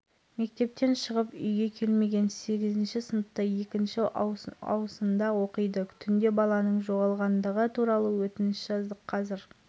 қазақстан унивесиадаларға жылдан бастап қатыса бастады қазақстанның спортшыдан тұратын делегациясы атлетикалық қалашыққа қаңтарда келді алматыда алауды